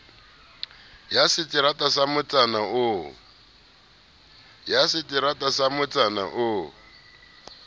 ya seterata sa motsana oo